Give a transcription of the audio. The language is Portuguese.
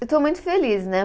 Eu estou muito feliz, né?